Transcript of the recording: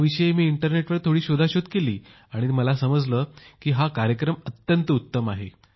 मी इंटरनेटवर थोडी शोधाशोध केली तर मला समजले की हा अत्यंत उत्तम कार्यक्रम आहे